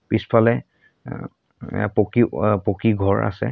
পিছফালে আ আ পকী ৱা পকী ঘৰ আছে।